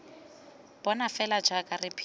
bona fela jaaka re phela